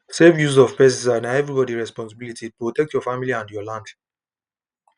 safe use of pesticide na everybody responsibilityprotect your life and your land